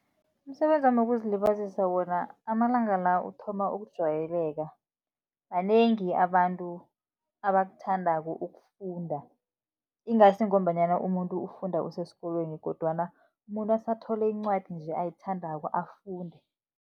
Umsebenzi wami wokuzilibazisa wona, amalanga la uthoma ukujayeleka, banengi abantu abakuthandako ukufunda. Ingasi ngombanyana umuntu ufunda usesikolweni, kodwana umuntu asathole incwadi nje ayithandako afunde.